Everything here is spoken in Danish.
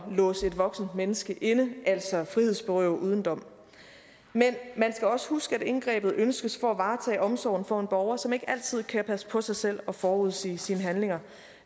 låse et voksent menneske inde altså frihedsberøve uden dom men man skal også huske at indgrebet ønskes for at varetage omsorgen for en borger som ikke altid kan passe på sig selv og forudsige sine handlinger